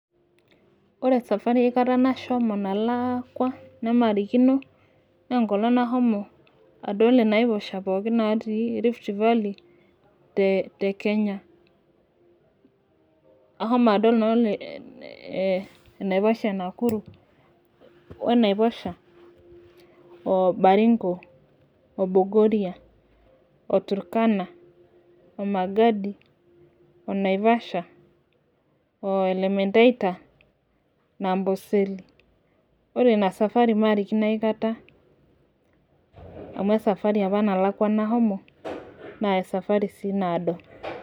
ore esafari aikata nashomo nalaakua nemarikino naa enkolong' nahomo adol inaiposha pooki naatii rift valley, te Kenya ashomo adol enaiposha e Nakuru we naiposha,o baringo o bogoria o turkana,o magadi o naivasha,o elementaita na amboseli. ore ina safari maarikino aikata,,amu e safari apa nalakua nashomo. naa e safari sii naado.